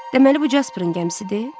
Deməli bu Casperin gəmisidir?